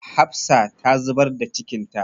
Hafsa ta zubar da cikinta.